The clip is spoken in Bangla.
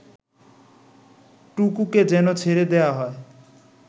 টুকুকে যেন ছেড়ে দেয়া হয়